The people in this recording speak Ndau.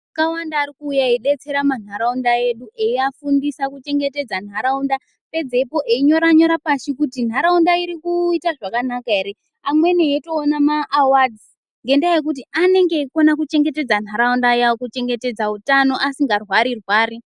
Akawanda arikuuya eidetsera manharaunda edu eiafundisa kuchengetedza nharaunda pedzeipo einyoranyora pashi kuti nharaunda irikuta zvakanaka ere ,amweni eitoona ma awards ngendaa yekuti anenge eikona kuchengetedza nharaunda kuchengetedza utano asi ngarwari rwari.